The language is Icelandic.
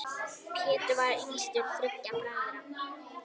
Pétur var yngstur þriggja bræðra.